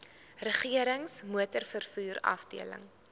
regerings motorvervoer afdeling